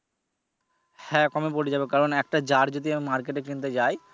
হ্যা কমে পরে যাবে কারন একটা jar যদি market এ কিনতে যাই।